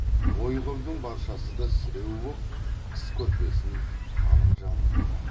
ой қырдың баршасы да сіреу боп қыс көрпесін қалың жамылыпты